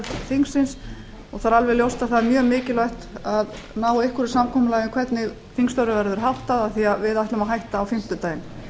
þingsins og það er alveg ljóst að það er mjög mikilvægt að á einhverju samkomulagi um hvernig þingstörfum verður háttað af því að við ætlum að hætta á fimmtudaginn